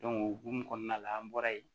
o hokumu kɔnɔna la an bɔra yen